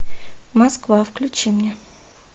москва включи мне